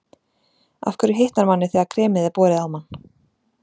Af hverju hitnar manni þegar kremið er borið á mann?